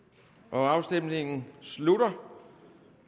afstemningen slutter